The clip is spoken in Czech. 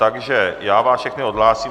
Takže já vás všechny odhlásím.